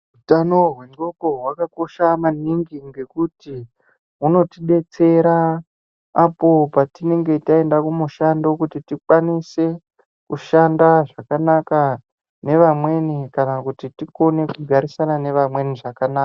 Hutano hwendxondo hwakakosha maningi ngekuti hunotidetsera apo patinenge taenda kumushando kuti tikwanise kushanda zvakanaka nevamweni kana kuti tikone kugarisana nevamweni zvakanaka.